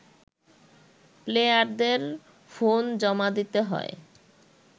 প্লেয়ারদের ফোন জমা দিতে হয়